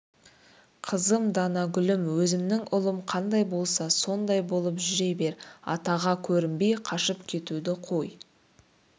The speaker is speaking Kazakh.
қызым данагүлім өзімнің ұлым қандай болса сондай болып жүре бер атаға көрінбей қашып кетуді қой